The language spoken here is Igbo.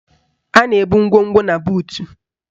A na-ebu ngwongwo na buutu